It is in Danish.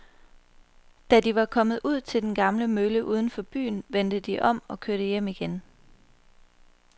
Da de var kommet ud til den gamle mølle uden for byen, vendte de om og kørte hjem igen.